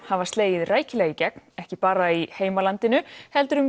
hafa slegið rækilega í gegn á ekki bara í heimalandinu heldur um